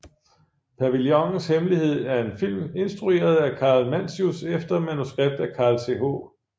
Pavillonens Hemmelighed er en film instrueret af Karl Mantzius efter manuskript af Carl Th